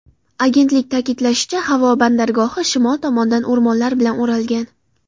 Agentlik ta’kidlashicha, havo bandargohi shimol tomondan o‘rmonlar bilan o‘ralgan.